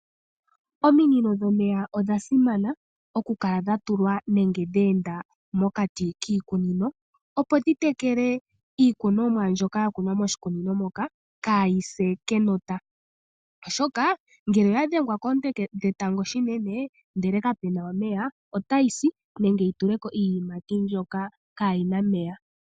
Ominino dhomeya odha simana okukala dha tulwa nenge dhe enda mokati kiikunino, opo dhi tekele iikunomwa mbyoka ya kunwa moshikunino moka kaayi se kenota, oshoka ngele oya dhengwa koonte dhetango shinene ndele kapu na omeya, otayi si nenge yi tule ko iiyimati mbyoka kaayi na omeya.